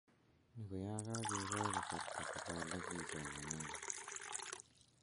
Ni ko ya kakekoi kasarta koba ole kisomonen.